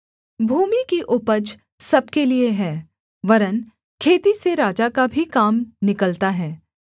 भूमि की उपज सब के लिये है वरन् खेती से राजा का भी काम निकलता है